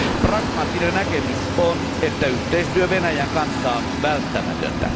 Pragmaattinen näkemys on, että yhteistyö Venäjän kanssa on välttämätöntä.